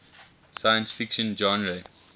science fiction genre